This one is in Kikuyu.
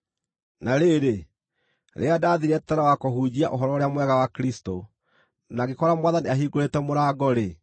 Na rĩrĩ, rĩrĩa ndaathiire Teroa kũhunjia Ũhoro-ũrĩa-Mwega wa Kristũ, na ngĩkora Mwathani ahingũrĩte mũrango-rĩ,